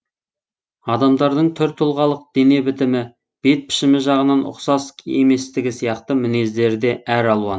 адамдардың түр тұлғалық дене бітімі бет пішімі жағынан ұқсас еместігі сияқты мінездері де әр алуан